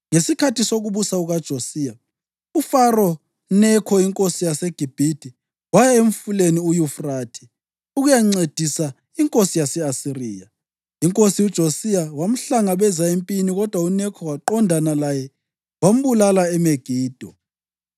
Ngesikhathi sokubusa kukaJosiya, uFaro Nekho inkosi yaseGibhithe waya eMfuleni uYufrathe ukuyancedisa inkosi yase-Asiriya. Inkosi uJosiya wamhlangabeza empini kodwa uNekho waqondana laye wambulala eMegido.